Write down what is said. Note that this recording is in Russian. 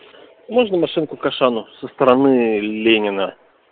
можно машинку к ашану со стороны ленина